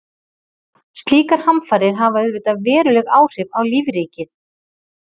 slíkar hamfarir hafa auðvitað veruleg áhrif á lífríkið